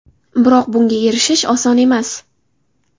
Biroq bunga erishish oson emas.